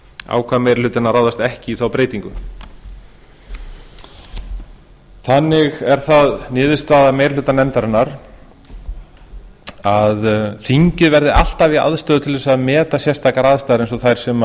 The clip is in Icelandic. ákvað meiri hlutinn að ráðast ekki í þá breytingu þannig er það niðurstaða meiri hluta nefndarinnar að þingið verði alltaf í aðstöðu til þess að meta sérstakar aðstæður eins